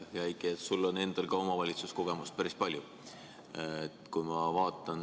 Hea Heiki, sul on endal ka omavalitsuse kogemust päris palju.